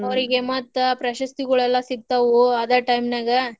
ಅವ್ರಿಗೆ ಮತ್ತ್ ಪ್ರಶಸ್ತಿಗೋಳೆಲ್ಲಾ ಸಿಗ್ತವು ಅದ್ time ನ್ಯಾಗ.